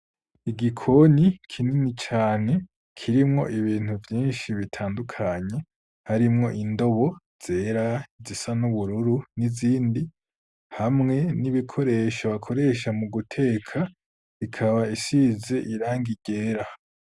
Igikoni, kinini cane, kirimwo ibintu vyinshi, bitandukanye; harimwo indobo zera, izisa n'ubururu, n'izindi; hamwe n'ibikoresho, bakoresha mu guteka; ikaba isize irangi ryera.